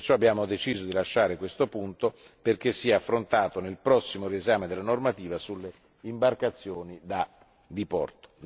Abbiamo perciò deciso di lasciare questo punto perché sia affrontato nel prossimo riesame della normativa sulle imbarcazioni da diporto.